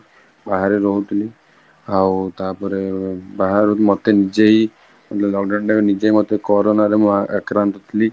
ବାହାରେ ରହୁଥିଇଲି ଆଉ ତା ପରେ ଅ ମତେ ନିଜେହିଁ ମାନେ lockdown time ରେ ନିଜେହିଁ corona ରେ ଏକା ରାନ୍ଧୁଥିଲି